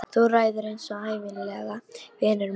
Þú ræður eins og ævinlega, vinur minn.